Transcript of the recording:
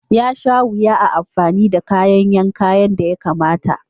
Yasha wuya a amfani da kayan yanka yadda ya kamata.